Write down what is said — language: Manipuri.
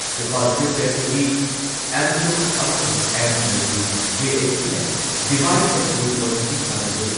ꯏꯝꯐꯥꯥꯜ ꯐ꯭ꯔꯤ ꯄ꯭ꯔꯦꯁꯇꯗꯤ ꯑꯦꯝꯇꯨꯛ ꯑꯃꯁꯨꯡ ꯑꯦꯝ.ꯖꯤ.ꯑꯣꯒꯤ ꯖꯦ.ꯑꯦ.ꯁꯤꯅ ꯗꯤꯚꯥꯏꯗ ꯑꯦꯟ ꯔꯨꯜ ꯄꯣꯂꯤꯁꯤ ꯁꯥꯟꯅꯔꯦ,